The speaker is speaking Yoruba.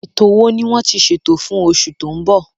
Ètò wo ni wọ́n ti ṣètò fún oṣù tó ń bọ̀?